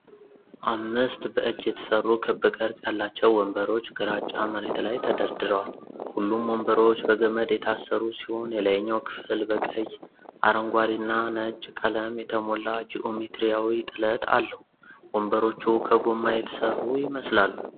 አምስት በእጅ የተሠሩ ክብ ቅርጽ ያላቸው ወንበሮች ግራጫ መሬት ላይ ተደርድረዋል። ሁሉም ወንበሮች በገመድ የታሰሩ ሲሆን፣ የላይኛው ክፍል በቀይ፣ አረንጓዴና ነጭ ቀለም የተሞላ ጂኦሜትሪያዊ ጥለት አለው። ወንበሮቹ ከጎማ የተሠሩ ይመስላሉ።